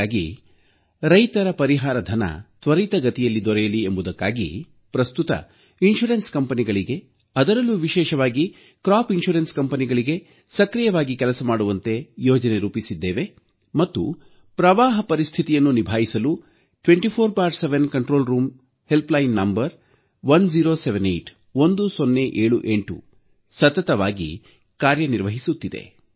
ಹಾಗಾಗಿ ರೈತರ ಪರಿಹಾರಧನ ತ್ವರಿತಗತಿಯಲ್ಲಿ ದೊರೆಯಲಿ ಎಂಬುದಕ್ಕಾಗಿ ಪ್ರಸ್ತುತ ವಿಮಾ ಕಂಪನಿಗಳಿಗೆ ಅದರಲ್ಲೂ ವಿಶೇಷವಾಗಿ ಬೆಳೆ ವಿಮಾ ಕಂಪನಿಗಳಿಗೆ ಸಕ್ರಿಯವಾಗಿ ಕೆಲಸ ಮಾಡುವಂತೆ ಯೋಜನೆ ರೂಪಿಸಿದ್ದೇವೆ ಮತ್ತು ಪ್ರವಾಹ ಪರಿಸ್ಥಿತಿಯನ್ನು ನಿಭಾಯಿಸಲು 24X7 ನಿಯಂತ್ರಣ ಕೊಠಡಿ ಸಹಾಯವಾಣಿ ಸಂಖ್ಯೆ 1078 ಸತತವಾಗಿ ಕಾರ್ಯನಿರ್ವಹಿಸುತ್ತಿದೆ